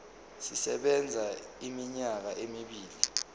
sisebenza iminyaka emibili